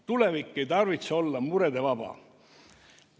Tulevik ei tarvitse olla muredest vaba.